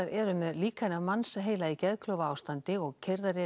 eru með líkani af mannsheila í geðklofaástandi og keyrðar